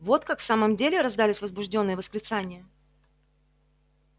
вот как в самом деле раздались возбуждённые восклицания